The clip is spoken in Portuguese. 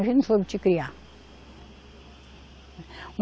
A gente não soube te criar.